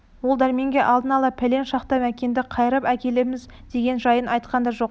ол дәрменге алдын ала пәлен шақта мәкенді қайырып әкелеміз деген жайын айтқан да жоқ